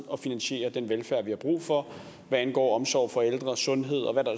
at finansiere den velfærd der er brug for hvad angår omsorg for ældre sundhed og hvad der